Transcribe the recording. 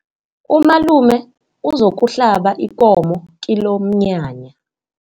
Umalume uzokuhlaba ikomo kilomnyanya.